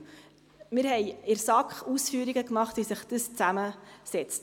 Wir haben in der SAK Ausführungen gemacht, wie sich dies zusammensetzt.